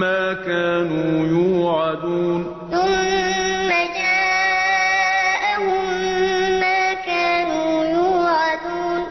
مَّا كَانُوا يُوعَدُونَ ثُمَّ جَاءَهُم مَّا كَانُوا يُوعَدُونَ